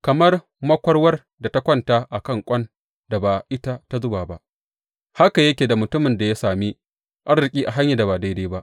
Kamar makwarwar da ta kwanta a kan ƙwan da ba ita ta zuba ba haka yake da mutumin da ya sami arziki a hanyar da ba daidai ba.